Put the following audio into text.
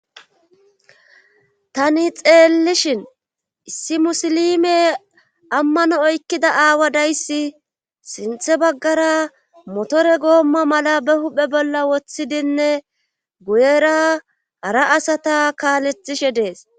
Tani xeellishin issi musilime ammano oykkida aawa dayssi sinthe baggara motore goomma mala be huphe bolla woththidinne guyera hara asata kaalethishe dees.